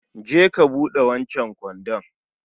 je ka buɗe wancan kwandon